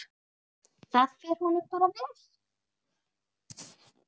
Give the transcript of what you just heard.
Það fer honum bara vel.